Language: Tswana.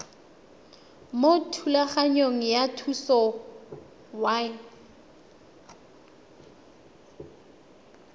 mo thulaganyong ya thuso y